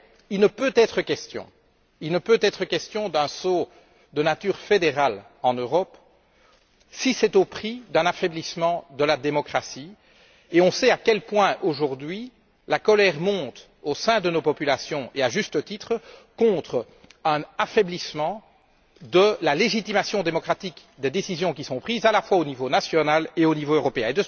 Mais il ne peut être question d'un saut de nature fédérale en Europe, si c'est au prix d'un affaiblissement de la démocratie, et on sait à quel point aujourd'hui la colère monte au sein de nos populations, à juste titre, contre un affaiblissement de la légitimation démocratique des décisions qui sont prises à la fois au niveau national et au niveau européen.